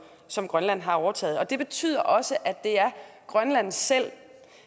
som grønland har overtaget det betyder også at det er grønland selv